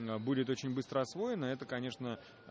будет очень быстро освоено это конечно